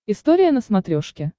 история на смотрешке